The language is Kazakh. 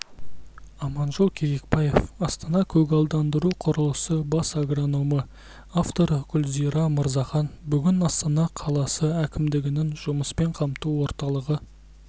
аманжол кебекбаев астана-көгалдандыру құрылысы бас агрономы авторы гүлзира мырзахан бүгін астана қаласы әкімдігінің жұмыспен қамту орталығы